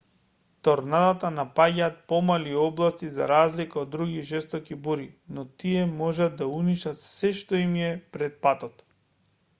торнадата напаѓаат помали области за разлика од други жестоки бури но тие можат да уништат се` што им е пред патот